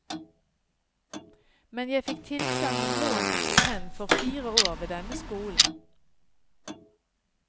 Men jeg fikk tilsagn om lån og stipend for fire år ved denne skolen.